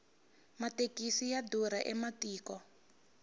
mathekisi ya durha ematiko